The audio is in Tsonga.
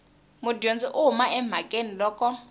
mudyondzi u huma emhakeni loko